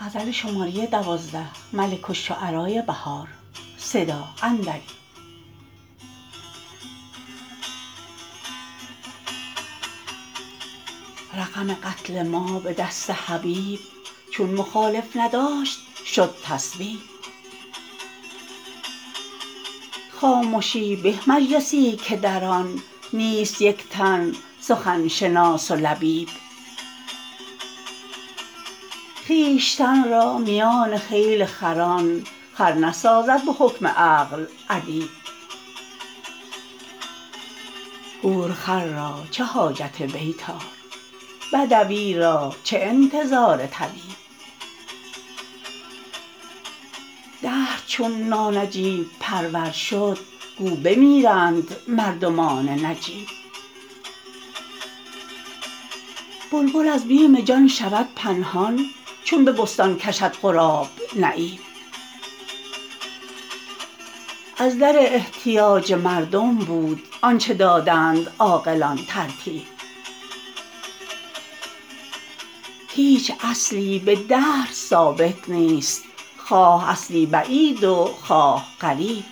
رقم قتل ما به دست حبیب چون مخالف نداشت شد تصویب خامشی به ز مجلسی که در آن نیست یک تن سخن شناس و لبیب خویشتن را میان خیل خران خر نسازد به حکم عقل ادیب گورخر را چه حاجت بیطار بدوی را چه انتظار طبیب دهر چون نانجیب پرور شد گو بمیرند مردمان نجیب بلبل از بیم جان شود پنهان چون به بستان کشد غراب نعیب از در احتیاج مردم بود آنچه دادند عاقلان ترتیب هیچ اصلی به دهر ثابت نیست خواه اصلی بعید و خواه قریب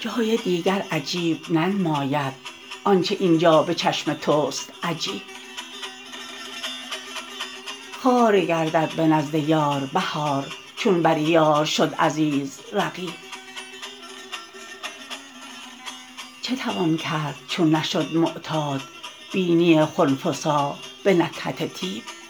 جای دیگر عجیب ننماید آنچه اینجا به چشم تو ست عجیب خوار گردد به نزد یار بهار چون بریار شد عزیز رقیب چه توان کرد چون نشد معتاد بینی خنفسا به نکهت طیب